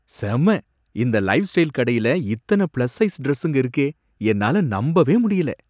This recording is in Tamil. செம! இந்த லைஃப்ஸ்டைல் கடையில இத்தன பிளஸ் சைஸ் டிரஸ்ஸுங்க இருக்கே! என்னால நம்பவே முடியல.